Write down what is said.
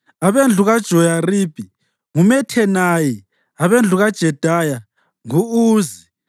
abendlu kaJoyaribi, nguMathenayi; abendlu kaJedaya, ngu-Uzi;